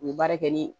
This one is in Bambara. U ye baara kɛ ni